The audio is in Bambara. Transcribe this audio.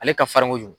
Ale ka farin kojugu